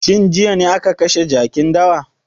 Shin jiya ne aka kashe jakin dawa?